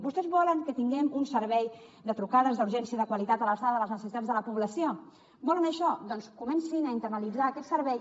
vostès volen que tinguem un servei de trucades d’urgència de qualitat a l’alçada de les necessitats de la població volen això doncs comencin a internalitzar aquest servei